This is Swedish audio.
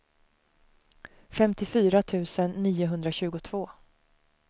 femtiofyra tusen niohundratjugotvå